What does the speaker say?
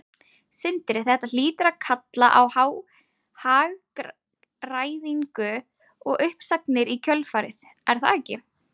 Sindri: Þetta hlýtur að kalla á hagræðingu og uppsagnir í kjölfarið, er það ekki?